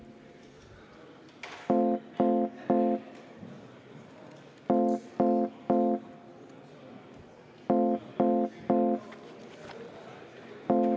Suur tänu!